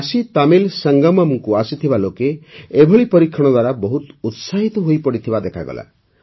କାଶୀତାମିଲ ସଂଗମମ୍କୁ ଆସିଥିବା ଲୋକେ ଏଭଳି ପରୀକ୍ଷଣ ଦ୍ୱାରା ବହୁତ ଉତ୍ସାହିତ ହୋଇପଡ଼ିଥିବା ଦେଖାଗଲା